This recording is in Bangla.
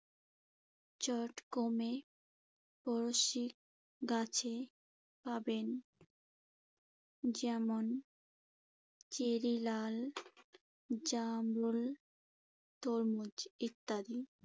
চট কমে পড়শি গাছে পাবেন। যেমন, চেরি, লাল জামরুল, তরমুজ ইত্যাদি।